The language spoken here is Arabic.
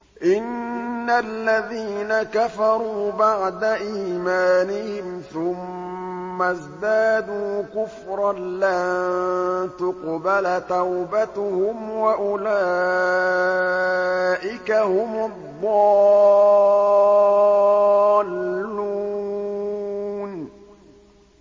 إِنَّ الَّذِينَ كَفَرُوا بَعْدَ إِيمَانِهِمْ ثُمَّ ازْدَادُوا كُفْرًا لَّن تُقْبَلَ تَوْبَتُهُمْ وَأُولَٰئِكَ هُمُ الضَّالُّونَ